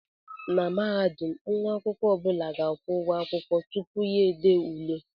Na Mahadum nwa akwụkwọ ọ bụla ga-akwụ ụgwọ ụlọ akwụkwọ tupu ya ede ule